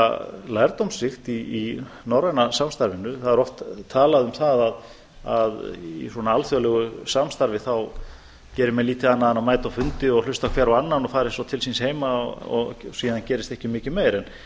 sé lærdómsríkt í norræna samstarfinu það er oft talað um að í svona alþjóðlegu samstarfi þá geri menn lítið annað en að mæta á fundi og hlusta hver á annan og fari svo til síns heima og síðan gerist ekki mikið meir en